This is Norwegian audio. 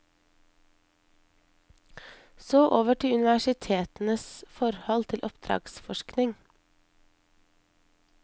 Så over til universitetenes forhold til oppdragsforskning.